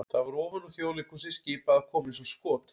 það var ofan úr Þjóðleikhúsi skipað að koma eins og skot!